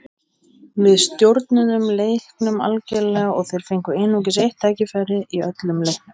Við stjórnuðum leiknum algerlega og þeir fengu einungis eitt tækifæri í öllum leiknum.